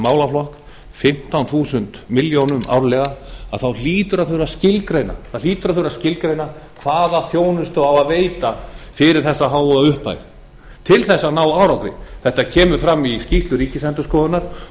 málaflokk fimmtán þúsund milljónum árlega þá hlýtur að þurfa að skilgreina hvaða þjónustu á að veita fyrir þessa háu upphæð til þess að ná árangri þetta kemur fram í skýrslu ríkisendurskoðunar